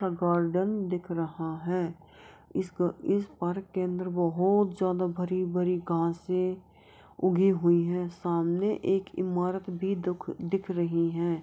Garden दिख रहा है। इस इस पार्क के अंदर बहुत ज्यादा भरी भरी घासे है उगी हुई हैं। सामने एक इमारत भी दिख रही हैं।